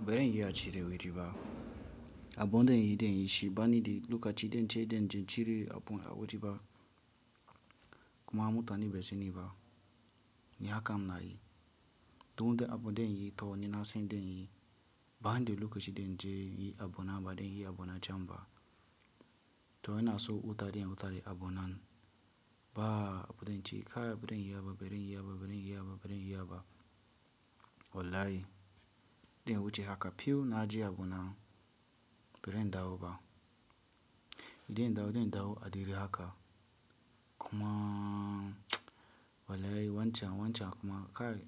Beren iya ci da wuri ba. Abonde yi den yi shi ba ni de lokaci den ce den je cire abun awoji ba kuma mutane ba se ni ba. Ni haka m nayi. To du abo den yi kawai nasan den yi ba ni de lokaci den je yi abona ba den yi abona canba. To ina so wuta den ya wuta de abonan ba abonde ce kai beren yi ba beren yi ba beren yi ba beren yi ba. Wallahi. Den wuce haka few na je abona beren dawo ba. Den dawo den dawo adire haka kuma wallahi wancan wancan kuma kai